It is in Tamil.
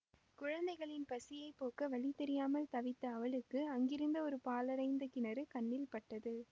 குழந்தைகளின் பசியை போக்க வழி தெரியாமல் தவித்த அவளுக்கு அங்கிருந்த ஒரு பாழடைந்த கிணறு கண்ணில் பட்டது